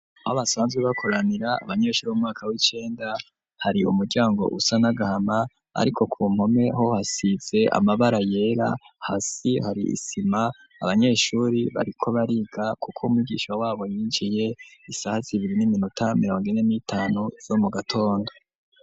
Aho basanzwe bakoranira abanyeshuri bo mumwaka w'icenda, hari umuryango usa nagahama ariko ku mpome ho hasitse amabara yera hasi hari isima. Abanyeshuri bariko bariga kuko umwigisha wabo yinjiye isaha zibiri n'iminota mirongo ine n'itanu zo mu gatondo.